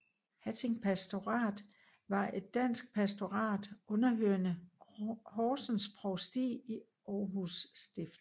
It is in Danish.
Hatting Pastorat var et dansk pastorat underhørende Horsens Provsti i Aarhus Stift